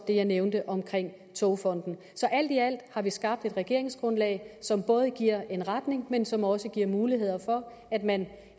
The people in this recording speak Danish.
det jeg nævnte om togfonden så alt i alt har vi skabt et regeringsgrundlag som både giver en retning men som også giver muligheder for at man